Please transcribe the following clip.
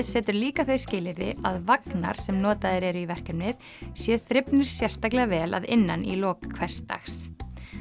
setur líka þau skilyrði að vagnar sem notaðir eru í verkefnið séu þrifnir sérstaklega vel að innan í lok hvers dags